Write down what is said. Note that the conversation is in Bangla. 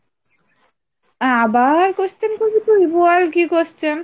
আবার question করবি তুই বল কি question?